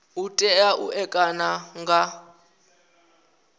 u tea u ṋekana nga